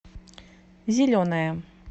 зеленая